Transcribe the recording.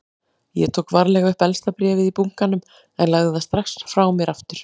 Ég tók varlega upp efsta bréfið í bunkanum en lagði það strax frá mér aftur.